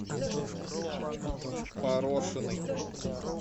порошиной